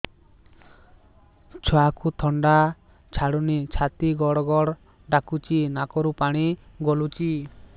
ଛୁଆକୁ ଥଣ୍ଡା ଛାଡୁନି ଛାତି ଗଡ୍ ଗଡ୍ ଡାକୁଚି ନାକରୁ ପାଣି ଗଳୁଚି